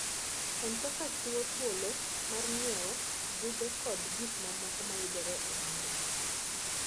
M-Pesa chiwo thuolo mar ng'iewo buge koda gik mamoko mayudore e intanet.